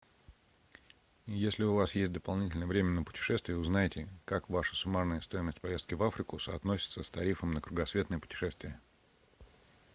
если у вас есть дополнительное время на путешествия узнайте как ваша суммарная стоимость поездки в африку соотносится с тарифом на кругосветное путешествие